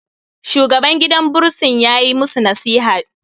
shugaban gidan bursin ya yi musu nasiha